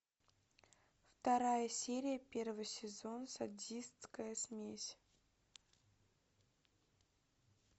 вторая серия первый сезон садистская смесь